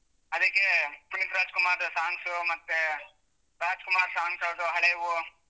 ಅದಿಕ್ಕೇ ಪುನೀತ್ ರಾಜಕುಮಾರ್ದು songs ಮತ್ತೇ Rajkumar songs ಯಾವ್ದು ಹಳೇವು.